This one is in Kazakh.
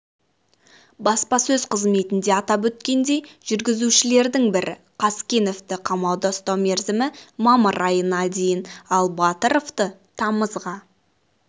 баспасөз қызметінде атап өткендей жүргізушілердің бірі қазкеновты қамауда ұстау мерзімі мамыр айына дейін ал батыровты тамызға